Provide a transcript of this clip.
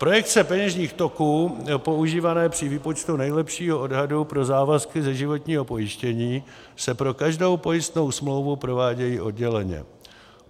Projekce peněžních toků používané při výpočtu nejlepšího odhadu pro závazky ze životního pojištění se pro každou pojistnou smlouvu provádějí odděleně.